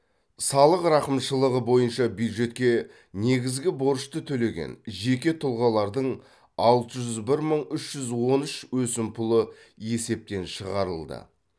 салық рақымшылығы бойынша бюджетке негізгі борышты төлеген жеке тұлғалардың алты жүз бір мың үш жүз он үш өсімпұлы есептен шығарылды